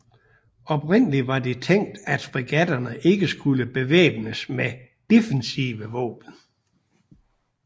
Oprindeligt var det tænkt at fregatterne ikke skulle bevæbnes med defensive våben